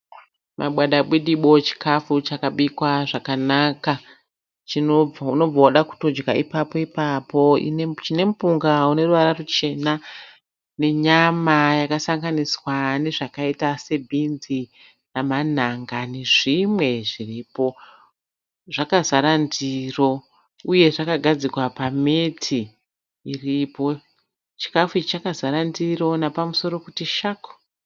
Mabwadabwidimbo chikafu chakabikwa zvakanaka. Unobva wada kutodya ipapo ipapo. Chine mupunga uneruvara ruchena nenyama yakasanganiswa nezvakaita se bhinzi namanhanga nezvimwe zviripo. Zvakazara ndiro uye zvakagadzikwa pa meti iripo. Chikafu ichi chakazara ndiro nepamusoro kuti shaku.